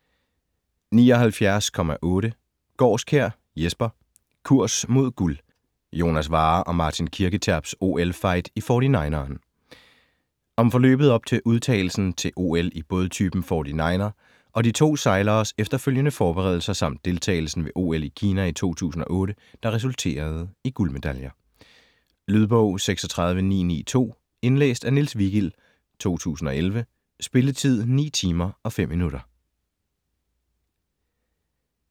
79.8 Gaarskjær, Jesper: Kurs mod guld: Jonas Warrer & Martin Kirketerps OL-fight i 49'eren Om forløbet op til udtagelsen til OL i bådtypen 49er, de to sejleres efterfølgende forberedelser, samt deltagelsen ved OL i Kina i 2008, der resulterede i guldmedaljer. Lydbog 36992 Indlæst af Niels Vigild, 2011. Spilletid: 9 timer, 5 minutter.